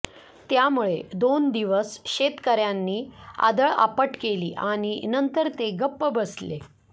त्यामुळं दोन दिवस शेतकर्यांनी आदळआपट केली आणि नंतर ते गप्प बसले